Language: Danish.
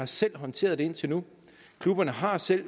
selv har håndteret det indtil nu klubberne har selv